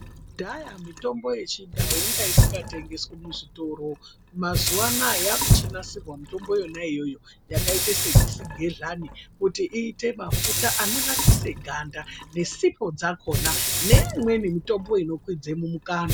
Kudhaya mitombo yechindau inga isingatengeswi muzvitoro mazuva anawa yakuchinasirwa mitombo yona iyoyo yakaita sechigehlani kuti iite mafuta a ananokisa ganda dzisipo dzakona neimweni mitombo inokwidza mumukanwa.